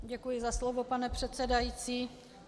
Děkuji za slovo, pane předsedající.